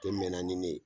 Tɛ mɛn na ni ne ye